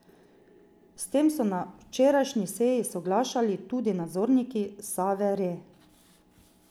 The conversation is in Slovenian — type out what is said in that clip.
S tem so na včerajšnji seji soglašali tudi nadzorniki Save Re.